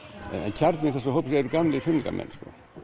kjarni þessa hóps eru gamlir fimleikamenn